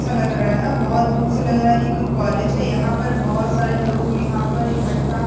अच्छा लग रहा है बहोत दूर से लग रहा है की कोई कॉलेज है यहाँ पर बहोत सारे लोग यहाँ पर इकट्ठा --